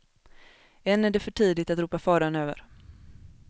Än är det för tidigt att ropa faran över.